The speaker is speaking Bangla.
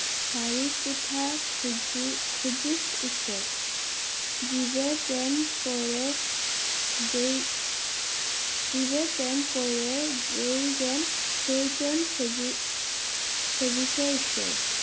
শরিক কুথা খুজি~খুঁজিস ঈশ্বর জীবে প্রেম করে যেই জিবে প্রেম করে যেই জন সেই জন সেবি~সেবীসে ঈশ্বর